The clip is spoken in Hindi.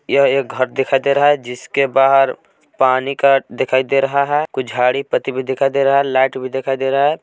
यह एक घर दिखाई दे रहा है जिसके बाहर पानी का दिखाई दे रहा है कुछ झाड़ी पत्ती भी दिखाई दे रहा है लाइट भी दिखाई दे रहा है।